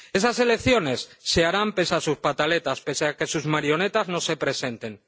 Esas elecciones se harán pese a sus pataletas, pese a que sus marionetas no se presenten.